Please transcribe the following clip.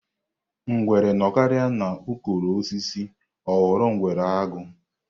Ngwere nọkarịa n'ukoro osisi ọ ghọrọ ngwere aghụ̀.